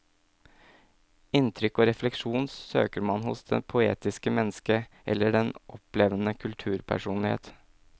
Inntrykk og refleksjon søker man hos det poetiske menneske eller den opplevende kulturpersonlighet.